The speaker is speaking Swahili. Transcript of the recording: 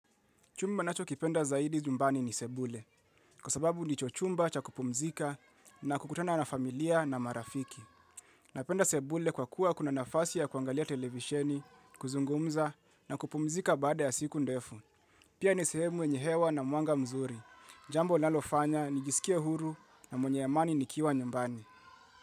Chumba nachokipenda zaidi nyumbani ni sebule, kwa sababu nicho chumba cha kupumzika na kukutana na familia na marafiki. Napenda sebule kwa kuwa kuna nafasi ya kuangalia televisheni, kuzungumza na kupumzika baada ya siku ndefu. Pia ni sehemu yenye hewa na muanga mzuri. Jambo nalofanya nijisikia huru na mwenye amani nikiwa nyumbani.